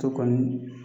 Ka kɔni